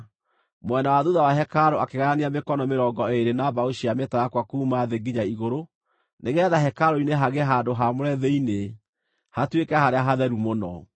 Mwena wa thuutha wa hekarũ akĩgayania mĩkono mĩrongo ĩĩrĩ na mbaũ cia mĩtarakwa kuuma thĩ nginya igũrũ, nĩgeetha hekarũ-inĩ hagĩe handũ haamũre thĩinĩ, hatuĩke Harĩa-Hatheru-Mũno.